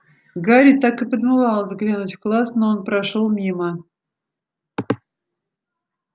гарри так и подмывало заглянуть в класс но он прошёл мимо